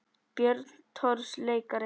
Björn Thors leikari